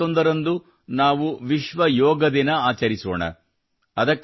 June 21 ರಂದು ನಾವು ವಿಶ್ವ ಯೋಗ ದಿನ ಆಚರಿಸೋಣ